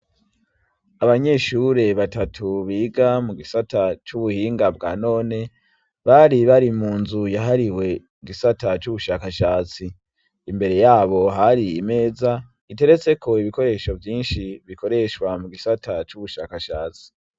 Abanyeshure batatu biga mu gisata c'ubuhinga bwa none bari bari munzu yahariwe igisata c'ubushakashatsi imbere yabo hari imeza iteretseko ibikoresho vyinshi bikoreshwa mu gisata c'ubushakashatsi.